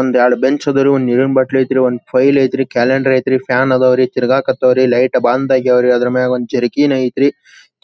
ಒಂದ್ ಎರಡ್ ಬೆಂಚ್ ಅದವರಿ ಒಂದ್ ನೀರಿನ ಬೊಟ್ಟಲ್ಲ ಐತ್ರಿ ಒಂದ್ ಫೈಲ್ ಐತ್ರಿ ಕ್ಯಾಲೆಂಡರ್ ಐತ್ರಿ ಫ್ಯಾನ್ ಅದಾವರಿ ತೀರಗಕ್ಕತವರಿ ಲೈಟ್ ಬಂದ ಆಗ್ಯಾವ್ರಿ ಅದರ ಮ್ಯಾಗೆ ಚರಕ್ಕೀನ್ ಐತ್ರಿ